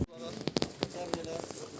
Gəl bura gəl, gəl bura ilə.